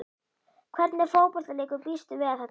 Hvernig fótboltaleikur býstu við að þetta verði?